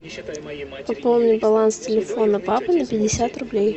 пополни баланс телефона папы на пятьдесят рублей